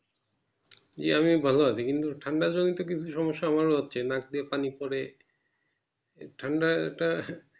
জি আমি ভালো আছি। কিন্তু ঠান্ডা জনিত কিছু সমস্যা আমারও হচ্ছে নাক দিয়ে পানি পরে ঠান্ডা টা